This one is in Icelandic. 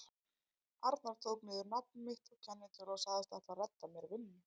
arnar tók niður nafn mitt og kennitölu og sagðist ætla að redda mér vinnu.